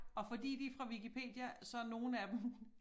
Og fordi de fra Wikipedia så nogle af dem